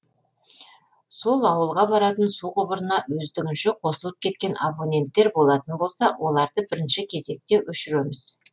сол ауылға баратын су құбырына өздігінше қосылып кеткен абоненттер болатын болса оларды бірінші кезекте өшіреміз